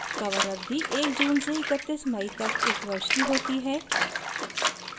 cover अवधि 1 जून से 31 मई तक एक वर्ष की होती है